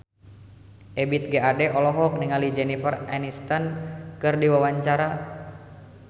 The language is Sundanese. Ebith G. Ade olohok ningali Jennifer Aniston keur diwawancara